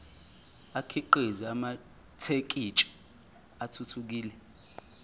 akhiqize amathekisthi athuthukile